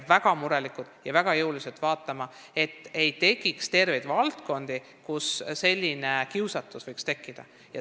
Me peame hoolega vaatama, et ei tekiks terveid valdkondi, kus võiks selline kiusatus tekkida.